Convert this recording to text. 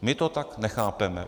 My to tak nechápeme.